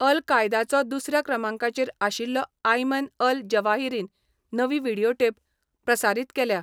अल कायदाचो दुसर्या क्रमांकाचेर आशिल्लो आयमन अल जवाहिरीन नवी व्हिडियोटेप प्रसारीत केल्या.